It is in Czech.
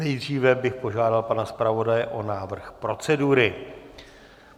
Nejdříve bych požádal pana zpravodaje o návrh procedury.